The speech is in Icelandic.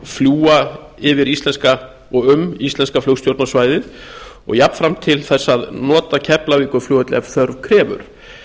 fljúga yfir og um íslenska flugstjórnarsvæðið og jafnframt til þess að nota keflavíkurflugvöll ef þörf krefur